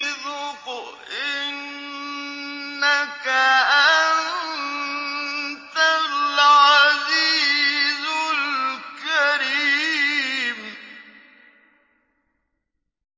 ذُقْ إِنَّكَ أَنتَ الْعَزِيزُ الْكَرِيمُ